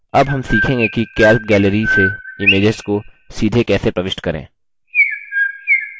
अब हम सीखेंगे कि calc gallery से images को सीधे कैसे प्रविष्ट करें